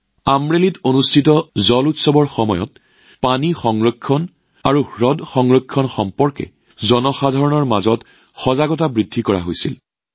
আমৰেলীত অনুষ্ঠিত জল উৎসৱৰ সময়ত জল সংৰক্ষণ আৰু হ্ৰদ সংৰক্ষণৰ সন্দৰ্ভত ৰাইজৰ মাজত সজাগতা বৃদ্ধিৰ প্ৰচেষ্টা চলিছিল